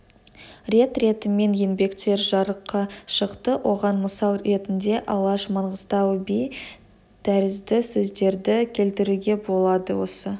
рет ретімен еңбектер жарыққа шықты оған мысал ретінде алаш маңғыстау би тәрізді сөздерді келтіруге болады осы